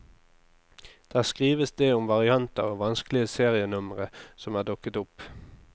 Der skrives det om varianter og vanskelige serienumre som er dukket opp.